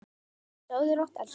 Sofðu rótt, elsku mamma.